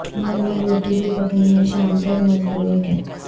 گھر میں روٹی بھی پکنی ہے شام تلک مزدوروں کے